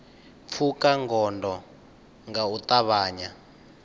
pfuka gondo nga u ṱavhanya